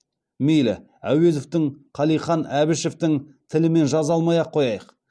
мейлі әуезовтің қалиқан әбішівтің тілімен жаза алмай ақ қояйық